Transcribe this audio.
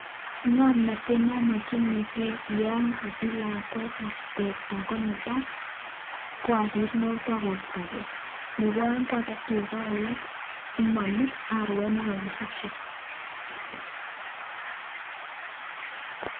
Ng'omnotet nomokyinike Yoon kosich lakwet teta konetaa ko obir ng'okto kostoke Nebo oeng ko aket tukaa alak simoluj arwet nekikisiche.